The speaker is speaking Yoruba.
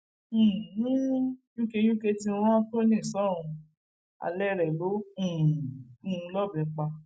um yunke ti rán tony sọrùn alẹ rẹ ló um gún un lọbẹ pa